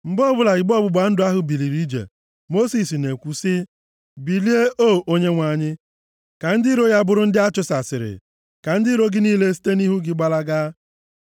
Mgbe ọbụla igbe ọgbụgba ndụ ahụ biliri ije, Mosis na-ekwu sị, “Bilie O Onyenwe anyị, ka ndị iro ya bụrụ ndị a chụsasịrị; ka ndị iro gị niile site nʼihu gị gbalaga.”